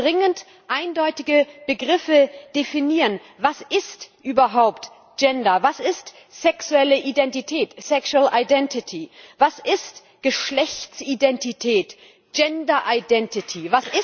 Wir müssen dringend eindeutige Begriffe definieren Was ist überhaupt Gender, was ist sexuelle Identität sexual identity was ist Geschlechtsidentität gender identity